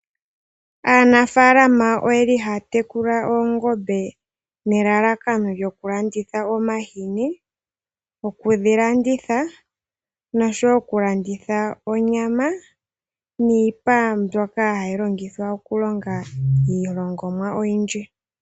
Aanafaalama oyeli haya tekula oongombe nelalakano lyoku landitha omahini, okudhi landitha noshowo okulanditha onyama niipa mbyoka hayi longithwa okulonga iilongomwa oyindji.